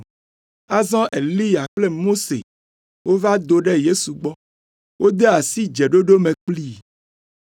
Azɔ Eliya kple Mose wova do ɖe Yesu gbɔ, wode asi dzeɖoɖo me kplii.